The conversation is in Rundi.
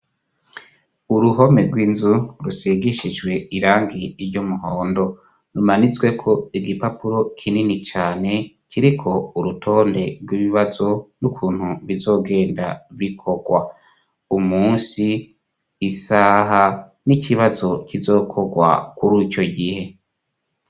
Uruhome rw'inzu rusigishijwe irangi ry'umuhondo rumanitsweko igipapuro kinini cane, kiriko urutonde rw'ibibazo, n'ukuntu bizogenda bikorwa: umunsi isaha, n'ikibazo kizokorwa kur'ico gihe.